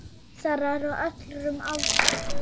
Lesarar á öllum aldri.